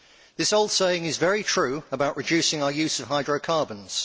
This old saying is very true about reducing our use of hydrocarbons.